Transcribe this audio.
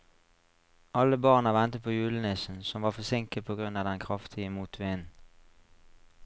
Alle barna ventet på julenissen, som var forsinket på grunn av den kraftige motvinden.